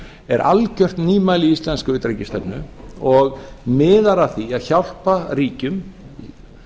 er algjört nýmæli í íslenskri utanríkisstefnu og miðar að því að hjálpa ríkjum